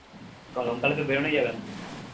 গরমকালে তো বেড়োনোই যাবেনা